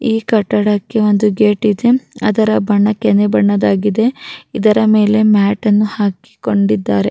ಈ ಕಟ್ಟಡದ ಬಣ್ಣ ಬಿಳಿಯ ಬಣ್ಣದಾಗಿದೆ ಇದರ ಮೇಲೆ ಕಂಬಿಗಳಿವೆ.